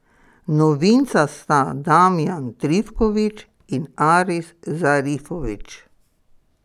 Novinca sta Damjan Trifković in Aris Zarifović.